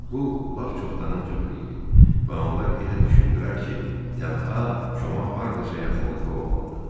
Bu lap çoxdanın cığırı idi və onlar elə düşündülər ki, tənha Koma hardasa yaxınlıqda olmalıdır.